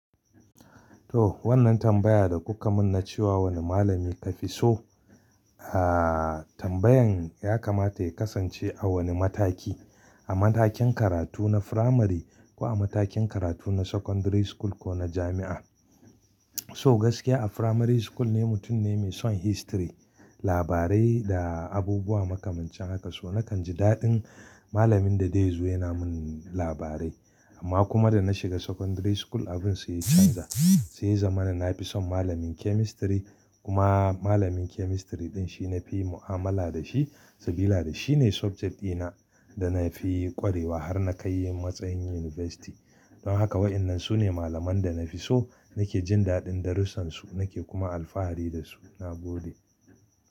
To wannan tambaya da kuka mun na cewa wani malami ka fi so, ah tambayan ya kamata ya kasance a wani mataki, a matakin karatu na firamari ko a matakin karatu na secondary school ko na jami'a. So gaskiya a primary school ne mutum ne mai son history, labarai da abubuwa makamancin haka. So nakan ji daɗin malamin da dai zo yana mun labarai. Amma kuma da na shiga secondary school abun sai canza sai ya zama na fi son malamin chemistry kuma malamin chemistry ɗin shi na fi mu'amala da shi saboda shi ne subject ɗina da na fi ƙwarewa har na kai matsayin university. Don haka waɗannan su ne malaman da na fi so, nake jin daɗin darusansu nake kuma alfahari da su. Na gode.